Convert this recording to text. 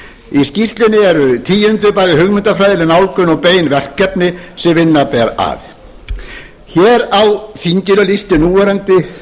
í skýrslunni eru tíunduð bæði hugmyndafræðileg nálgun og bein verkefni sem vinna ber að hér á þinginu lýsti núverandi